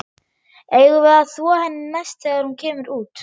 Eigum við að þvo henni næst þegar hún kemur út?